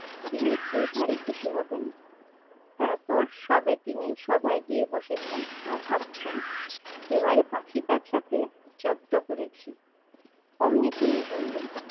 তিনি খেয়ে ভারী খুশি হবেন। তারপর সবে তিনি সভায় গিয়ে বসেছেন আর ভাবছেন এবারে পাখিটার সাথে জব্দ করেছি। অমনি টুনি বলল